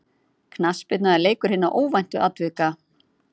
Knattspyrna er leikur hinna óvæntu atvika.